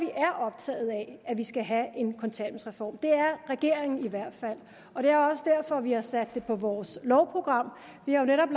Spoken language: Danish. er optaget af at vi skal have en kontanthjælpsreform det er regeringen i hvert fald og det er også derfor vi har sat det på vores lovprogram vi har jo netop